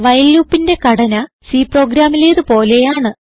while loopന്റെ ഘടന C പ്രോഗ്രാമിലേത് പോലെയാണ്